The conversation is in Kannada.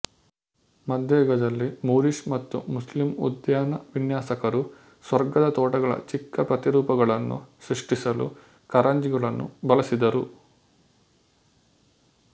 ಮಧ್ಯಯುಗದಲ್ಲಿ ಮೂರಿಶ್ ಮತ್ತು ಮುಸ್ಲಿಮ್ ಉದ್ಯಾನ ವಿನ್ಯಾಸಕರು ಸ್ವರ್ಗದ ತೋಟಗಳ ಚಿಕ್ಕ ಪ್ರತಿರೂಪಗಳನ್ನು ಸೃಷ್ಟಿಸಲು ಕಾರಂಜಿಗಳನ್ನು ಬಳಸಿದರು